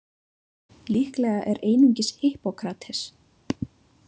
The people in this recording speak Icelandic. Líklega er einungis Hippókrates.